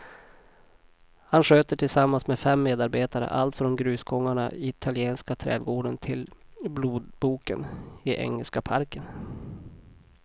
Han sköter tillsammans med fem medarbetare allt från grusgångarna i italienska trädgården till blodboken i engelska parken.